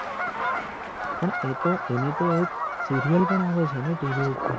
પણ એ તો એની તો એક સિરિયલ પણ આવે છે ને TV ઉપપર